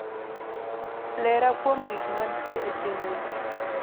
lera kuom gik mantie e chenro